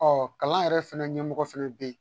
Ɔ kalan yɛrɛ fɛnɛ ɲɛmɔgɔ fɛnɛ be yen